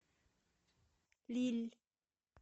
лилль